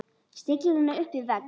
Stillir henni upp við vegg.